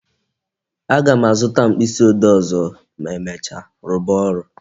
A ga m azụta mkpịsị ode ọzọ ma emecha, rụba ọrụ